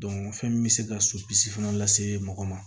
fɛn min bɛ se ka sopisi fana lase mɔgɔ ma